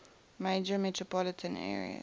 major metropolitan areas